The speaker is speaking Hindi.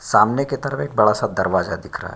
सामने के तरफ एक बड़ा सा दरवाजा दिख रहा।